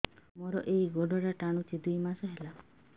ମୋର ଏଇ ଗୋଡ଼ଟା ଟାଣୁଛି ଦୁଇ ମାସ ହେଲା